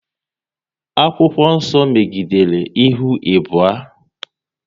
Akwụkwọ nso megidere ihu abụọ